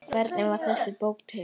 Hvernig varð þessi bók til?